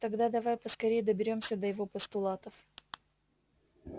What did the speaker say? тогда давай поскорее доберёмся до его постулатов